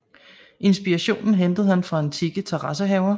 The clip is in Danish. Inspirationen hentede han fra antikke terrassehaver